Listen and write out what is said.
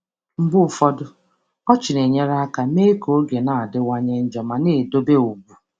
Mgbe ụfọdụ, ọchị na-enyere aka ime ka oge esemokwu dị mfe ma na-echekwa ugwu. ugwu.